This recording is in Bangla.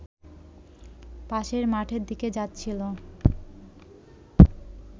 পাশের মাঠের দিকে যাচ্ছিল